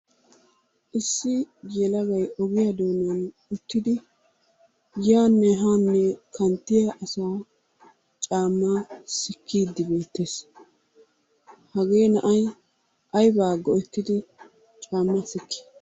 Issi yelagay ogiya doonan uttidi yaanne haanne kanttiya asaa caammaa sikkiiddi beettees. Hagee na"ay aybaa go"ettidi caammaa sikkii?